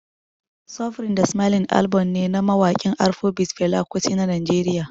Suffering da Smiling album ne na mawakin Afrobeat Fela Kuti na Najeriya